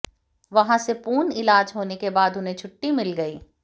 वहां से पूर्ण इलाज होने के बाद उन्हें छुट्टी मिल गई